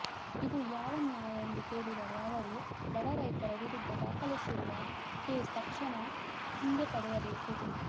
ಇದು ಯಾವ ನ್ಯಾಯ ಎಂದು ಕೇಳಿದ ಅವರು ಬಡ ರೈತರ ವಿರುದ್ಧ ದಾಖಲಿಸಿರುವ ಕೇಸ ತಕ್ಷಣ ಹಿಂದೆ ಪಡೆಯ ಬೇಕು